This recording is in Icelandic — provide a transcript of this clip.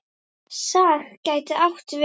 SAG gæti átt við